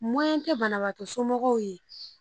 tɛ banabagatɔ somɔgɔw ye.